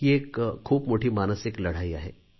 ही एक खूप मोठी मानसिक लढाई आहे